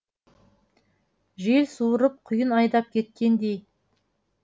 жел суырып құйын айдап кеткендей